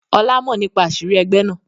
Ọlá mọ nípa àṣírí ẹgbẹ́ náà.